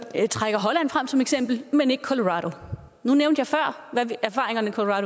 trækker holland frem som eksempel men ikke colorado nu nævnte jeg før hvad erfaringerne fra